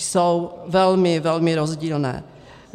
Jsou velmi, velmi rozdílné.